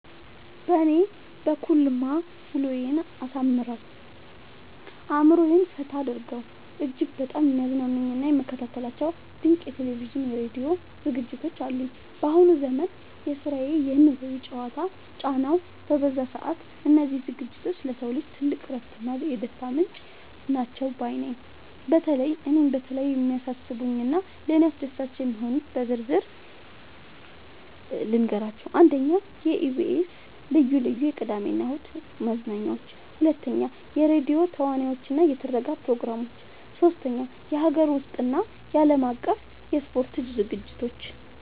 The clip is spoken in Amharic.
በእኔ በኩልማ ውሎዬን አሳምረው፣ አእምሮዬን ፈታ አድርገው እጅግ በጣም የሚያዝናኑኝና የምከታተላቸው ድንቅ የቴሌቪዥንና የራዲዮ ዝግጅቶች አሉኝ! ባሁኑ ዘመን የስራና የኑሮ ጫናው በበዛበት ሰዓት፣ እነዚህ ዝግጅቶች ለሰው ልጅ ትልቅ የእረፍትና የደስታ ምንጭ ናቸው ባይ ነኝ። በተለይ እኔን በጣም የሚስቡኝንና ለእኔ አስደሳች የሆኑትን በዝርዝር ልንገራችሁ፦ 1. የኢቢኤስ (EBS TV) ልዩ ልዩ የቅዳሜና እሁድ መዝናኛዎች 2. የራዲዮ ተውኔቶችና የትረካ ፕሮግራሞች 3. የሀገር ውስጥና የዓለም አቀፍ የስፖርት ዝግጅቶች